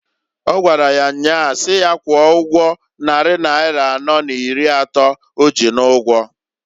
Ọ gwara ya nyaa si ya kwụọ ụgwọ nnari naira anọọ n'iri atọọ o ji n'ụgwọǃ